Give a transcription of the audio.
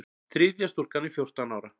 Þriðja stúlkan er fjórtán ára.